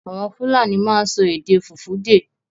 Àwọn Fúlàní máa ń sọ èdè Fùfúdè.